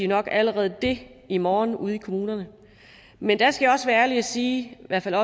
nok allerede det i morgen ude i kommunerne men der skal jeg også være ærlig og sige i hvert fald